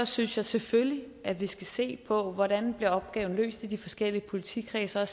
synes jeg selvfølgelig at vi skal se på hvordan opgaven bliver løst i de forskellige politikredse og